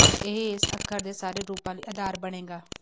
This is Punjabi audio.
ਇਹ ਇਸ ਅੱਖਰ ਦੇ ਸਾਰੇ ਰੂਪਾਂ ਲਈ ਆਧਾਰ ਬਣੇਗਾ